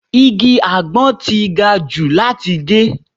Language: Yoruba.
Igi àgbon ti gajù láti gé.